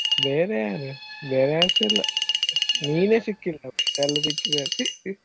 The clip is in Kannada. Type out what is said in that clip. ಬೇರೆ ಯಾರು ಬೇರೆಯಾರುಸ ಇಲ್ಲ ನೀನೆ ಸಿಕ್ಕಿಲ್ಲಾ ಮತ್ತೇ ಎಲ್ಲ ಸಿಕ್ಕಿದ್ದಾರೆ.